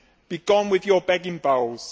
Be gone with your begging bowls.